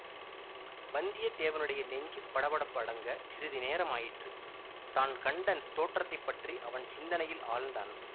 வந்தியத்தேவனுடைய நெஞ்சு படபடப்பு அடங்கச் சிறிது நேரம் ஆயிற்று தான் கண்ட தோற்றத்தை பற்றி அவன் சிந்தனையில் ஆழ்ந்தான்